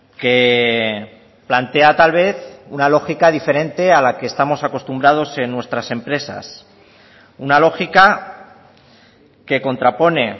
que plantea tal vez una lógica diferente a la que estamos acostumbrados en nuestras empresas una lógica que contrapone